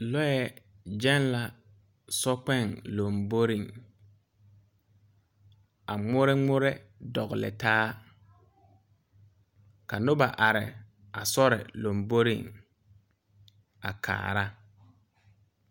Lɔɛ gyɛŋ la sokpɛɛ lomboreŋ a ngmore ngmore tɔgle taa ka nobɔ are a sori lomboreŋ a kaara.